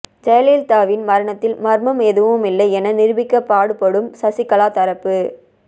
ஜெயலலிதாவின் மரணத்தில் மர்மம் எதுவுமில்லை என நிரூபிக்க பாடுபடும் சசிகலா தரப்பு